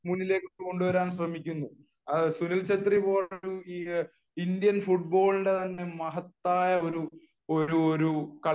മുന്നിലേക്ക് കൊണ്ടുവരാൻ ശ്രമിക്കുന്നു സുനിൽ ഛത്രി പോലുള്ള ഇന്ത്യൻ ഫുടബോളിന്റെ മഹത്തായ ഒരു കളിക്കാരനെ